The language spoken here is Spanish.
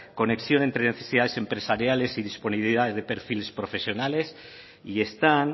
conexión entre necesidades empresariales y disponibilidad de perfiles profesionales y están